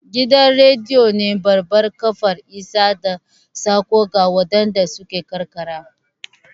Gidan rediyo ne babbar kafar isar da saƙo ga waɗanda suke karkara